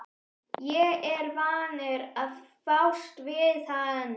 Ég er vanur að fást við hann!